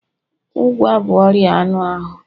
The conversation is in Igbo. Ụgwa bụ ọrịa anụ ahụ